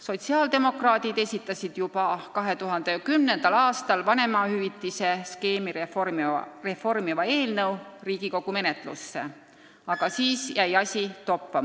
Sotsiaaldemokraadid esitasid juba 2010. aastal vanemahüvitise skeemi reformimise eelnõu Riigikogu menetlusse, aga siis jäi asi toppama.